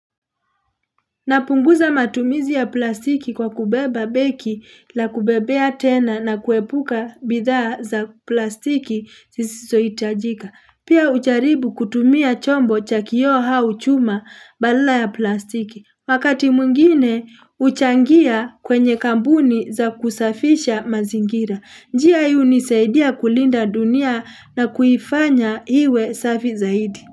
Napunguza matumizi ya plastiki kwa kubeba begi la kubebea tena na kuepuka bidhaa za plastiki zisizoitajika. Pia ucharibu kutumia chombo cha kio au chuma badala ya plastiki. Wakati mwingine uchangia kwenye kambuni za kusafisha mazingira. Njia ii unisaidia kulinda dunia na kuifanya iwe safi zaidi.